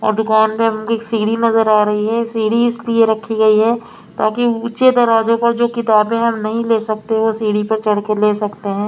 और दुकान में एक सीढ़ी नजर आ रही है सीढ़ी इसलिए रखी गई है ताकि ऊँचे दरवाजों पर जो किताबें हम नहीं ले सकते वो सीढ़ी पर चढ़ के ले सकते हैं।